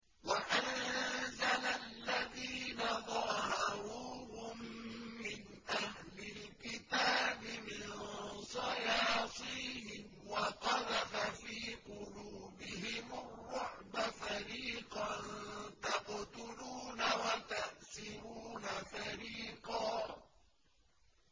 وَأَنزَلَ الَّذِينَ ظَاهَرُوهُم مِّنْ أَهْلِ الْكِتَابِ مِن صَيَاصِيهِمْ وَقَذَفَ فِي قُلُوبِهِمُ الرُّعْبَ فَرِيقًا تَقْتُلُونَ وَتَأْسِرُونَ فَرِيقًا